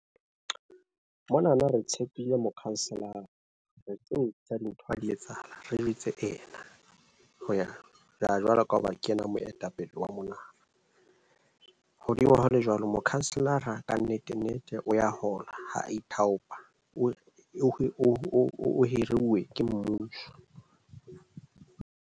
Mona na re tshepile mokhanselara re tseo tsa dintho ha di etsahala. Re jwetse ena hoya jwalo, jwalo ka hoba ke ena moetapele wa mona na hodimo ho le jwalo mokhanselara ka nnete nnete o ya hola. Ha a ithaopa, o o o hiruwe ke mmuso.